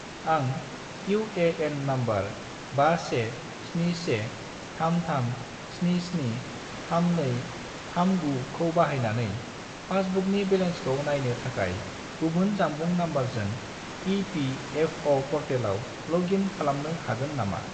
आं UAN. Number 517133773239 खौ बाहायनानै पासबुकनि बेलेन्सखौ नायनो थाखाय गुबुन जानबुं नम्बरजों इ.पि.एफ.अ'. पर्टेलाव लग इन खालामनो हागोन नामा?